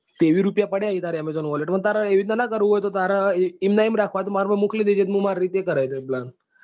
ત્રેવીસ રૂપિયા પડ્યા છે તાર amazon wallet માં અને તારે એમ નાં કરવું હોય એમ ના એમ રાખવા હોય તો મારા માં મોકલી દેજે તો મુ માર રીતે કરાઈ દય plan.